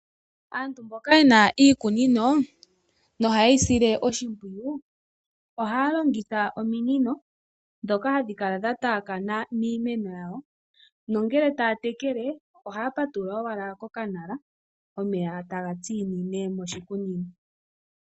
Aantu mboka yena iikunino noha ye yi sile oshimpwiyu. Ohaya longitha ominino ndhoka hadhi kala dha taakana miimeno yawo. Ngele taya tekele ohaya patulula owala kokanala omeya eta tsinine moshikunino.